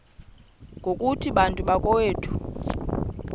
ngokuthi bantu bakowethu